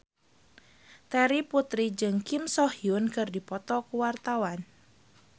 Terry Putri jeung Kim So Hyun keur dipoto ku wartawan